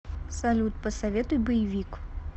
салют посоветуй боевик